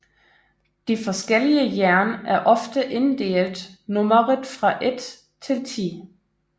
De forskellige jern er ofte inddelt nummeret fra ét til ti